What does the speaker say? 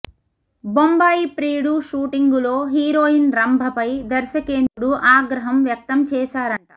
బొంబాయి ప్రియుడు షూటింగులో హీరోయిన్ రంభపై దర్శకేంద్రుడు ఆగ్రహం వ్యక్తం చేశారంట